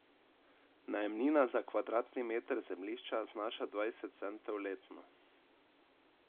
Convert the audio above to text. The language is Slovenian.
Najemnina za kvadratni meter zemljišča znaša dvajset centov letno.